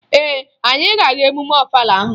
Ee, anyị ga-aga emume Ọfala ahụ